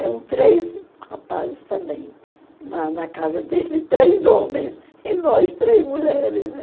Eram três rapazes também na na casa deles, três homens, e nós três mulheres, né?